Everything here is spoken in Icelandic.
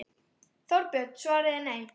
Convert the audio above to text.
Þorbjörn: Svarið er nei?